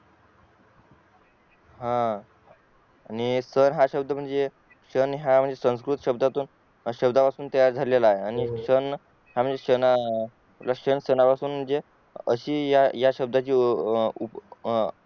हा आणि म्हणजे सण हा संस्कृत शब्दातून तयार झालेला आणि सण रशियन सनापासून म्हणजे अशी या शब्दाची